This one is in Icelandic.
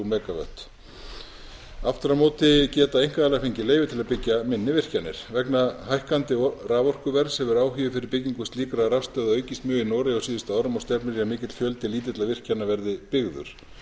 mega vöttum aftur á móti geta einkaaðilar fengið leyfi til að byggja minni virkjanir vegna hækkandi raforkuverðs hefur áhugi fyrir byggingu slíkra rafstöðva aukist mjög í noregi á síðustu árum og stefnir í að mikill fjöldi lítilla virkjana verði byggður